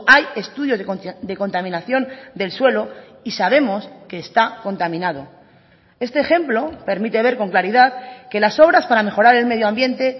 hay estudios de contaminación del suelo y sabemos que está contaminado este ejemplo permite ver con claridad que las obras para mejorar el medio ambiente